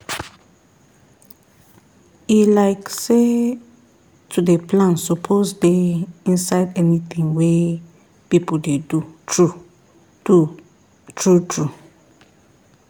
e like say to dey plan suppose dey inside anything wey people dey do true do true true